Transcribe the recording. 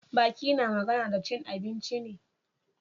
Baki na magana da cin abinci ne.